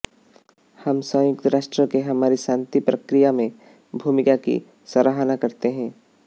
हम संयुक्त राष्ट्र के हमारी शांति प्रक्रिया में भूमिका की सराहना करते हैं